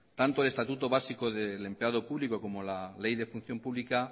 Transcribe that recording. tanto el estatuto básico de empleado público como la ley de función pública